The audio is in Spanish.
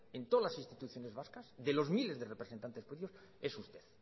en todas las instituciones vascas de los miles de representantes políticos es usted